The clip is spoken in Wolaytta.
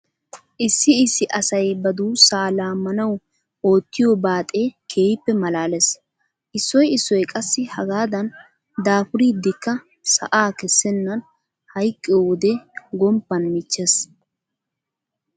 Issi issi asay ba duussaa laammanawu oottiyo baaxee keehippe maalaalees. Issoy issoy qassi hagaadan daafuridikka sa'aa kessennan hayqqiyo wode gomppan michchees.